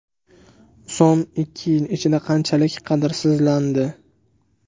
So‘m ikki yil ichida qanchalik qadrsizlandi?